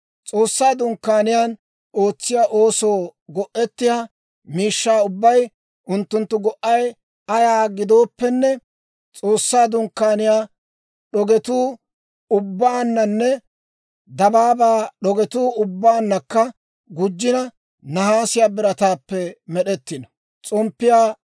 «S'oossaa Dunkkaaniyaan ootsiyaa oosoo go'ettiyaa miishshaa ubbay, unttunttu go"ay ayaa gidooppenne, S'oossaa Dunkkaaniyaa d'ogetu ubbaananne dabaabaa d'ogetu ubbaannakka gujjina, nahaasiyaa birataappe med'ettiino.